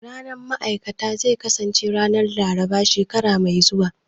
Ranar ma'aikata zai kasance ranar Laraba shekara mai zuwa